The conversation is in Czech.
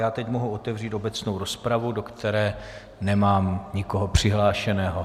Já teď mohu otevřít obecnou rozpravu, do které nemám nikoho přihlášeného.